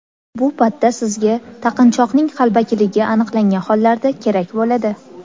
Bu patta sizga taqinchoqning qalbakiligi aniqlangan hollarda kerak bo‘ladi.